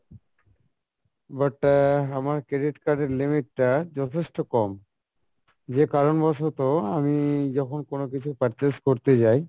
but আহ আমার credit card এর limit টা যথেষ্ট কম যে কারন বসোতো আমি যখন কোনো কিছু purchase করতে যাই